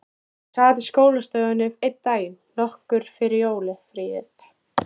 Hún sat í skólastofunni einn daginn, nokkru fyrir jólafríið.